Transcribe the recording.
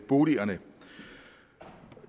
boligerne for